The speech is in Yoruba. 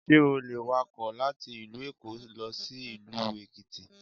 Sé o le wakò láti ìlú Èkó lọ sí ìlú Èkìtì